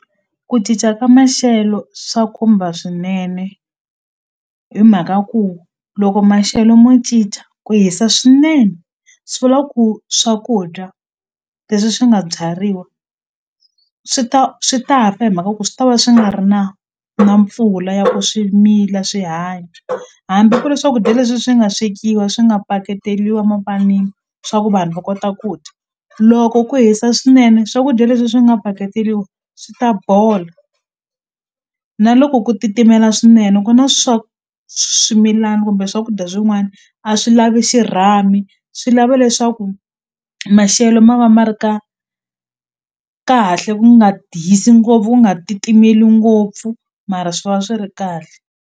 Ku cinca ka maxelo swa khumba swinene hi mhaka ku loko maxelo mo cinca ku hisa swinene swi vula ku swakudya leswi swi nga byariwa swi ta swi ta fa hi mhaka ku swi tava swi nga ri na na mpfula ya swi mila swi hanya hambi ku ri swakudya leswi swi nga swekiwa swi nga paketeliwa mapanini swa ku vanhu va kota ku dya loko ku hisa swinene swakudya leswi swi nga paketeliwa swi ta bola na loko ku titimela swinene ku na swimilana kumbe swakudya swin'wani a swi lavi xirhami swi lava leswaku maxelo ma va ma ri ka kahle ku nga hisi ngopfu ku nga titimeliku ngopfu mara swi va swi ri kahle.